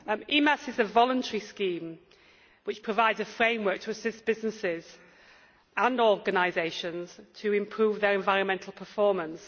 EMAS is a voluntary scheme, which provides a framework to assist businesses and organisations to improve their environmental performance.